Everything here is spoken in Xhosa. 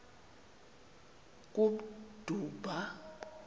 kummdumba